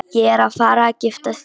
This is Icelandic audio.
Ég að fara að gifta mig!